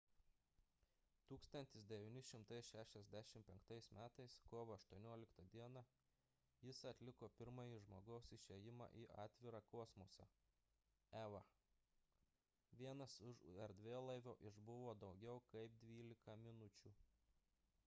1965 m. kovo 18 d. jis atliko pirmąjį žmogaus išėjimą į atvirą kosmosą eva – vienas už erdvėlaivio išbuvo daugiau kaip dvylika minučių